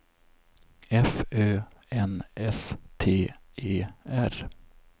F Ö N S T E R